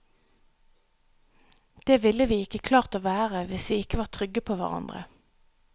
Det ville vi ikke klart å være hvis vi ikke var trygge på hverandre.